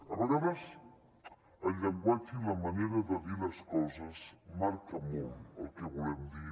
a vegades el llenguatge i la manera de dir les coses marca molt el que volem dir